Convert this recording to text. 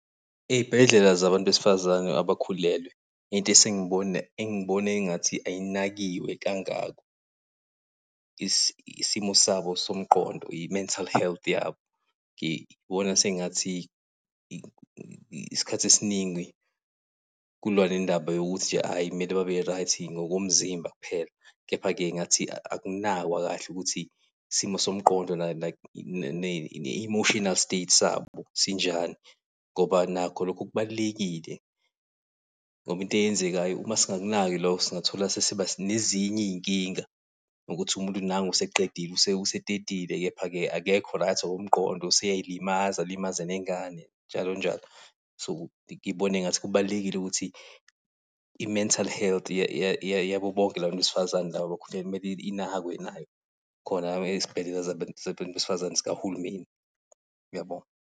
Ey'bhedlela zabantu besifazane abakhulelwe, into esengibona engibona engathi ayinakiwe kangako, isimo sabo somqondo, i-mental health yabo. Ngibona sengathi isikhathi esiningi, kuliwa nendaba yokuthi nje ayi kumele babe-right, ngokomzimba kuphela, kepha-ke ngathi akunakwa kahle ukuthi isimo somqondo ne-emotional state sabo sinjani, ngoba nakho lokho kubalulekile. Ngoba into eyenzekayo uma singakunaki lokho singathola sesiba nezinye iy'nkinga, ngokuthi umuntu nangu useqedile, usetetile, kepha-ke akekho right ngoko mqondo useyay'limaza, alimaze nengane njalo njalo. So, ngibona engathi kubalulekile ukuthi i-mental health yabo bonke la bantu besifazane laba abakhulelwe kumele inakwe nayo, khona lapha ezibhedlela zabantu besifazane sikahulumeni. Ngiyabonga.